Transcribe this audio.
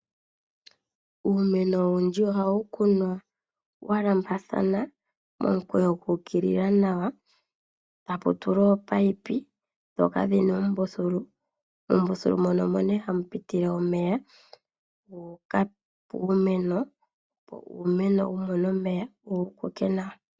Uumeno owundji ohawu kunwa uumeno walambathana , momukweyo guukilila nawa , tapu tulwa ominino ndhoka dhina oombuthulu, oombuthulu omo hamu pitile omeya guuka puumeno opo uumeno wumone omeya wukoke nawa.